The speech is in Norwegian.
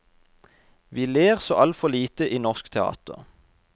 Vi ler så altfor lite i norsk teater.